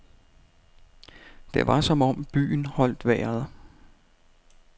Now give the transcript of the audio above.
Det var som om byen holdt vejret.